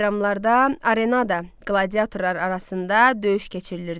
Bayramlarda arenada qladiatorlar arasında döyüş keçirilirdi.